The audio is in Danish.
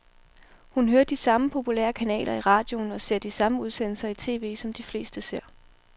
Hun hører de samme populære kanaler i radioen og ser de samme udsendelser i tv, som de fleste ser.